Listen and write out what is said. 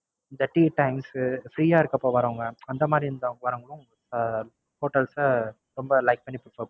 இந்த Tea times Free ஆ இருக்கப்ப வரவுங்க அந்த மாதிரி வரவுங்களும் அஹ் Hotels அ ரொம்ப Like பண்ணி Prefer பண்றாங்க.